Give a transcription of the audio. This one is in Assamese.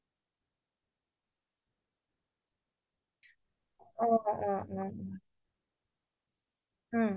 তেনেকোৱা type ৰ উপন্যাস বোৰ পঢ়ি বেচি ভাল পাও মই সকলো প্ৰকাৰৰ উপন্যাসয়ে পঢ়ো কিন্তু